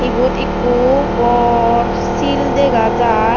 ibot ekku bor sil dega jar.